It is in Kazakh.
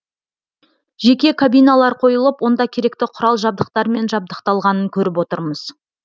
жеке кабиналар қойылып онда керекті құрал жабдықтармен жабдықталғанын көріп отырмыз